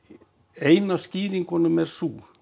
ein af skýringunum er sú